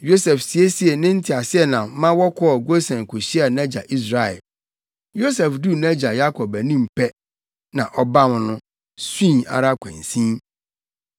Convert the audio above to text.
Yosef siesiee ne nteaseɛnam ma wɔkɔɔ Gosen kohyiaa nʼagya Israel. Yosef duu nʼagya Yakob anim pɛ na ɔbam no, sui ara kwansin.